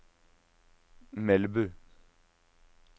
Melbu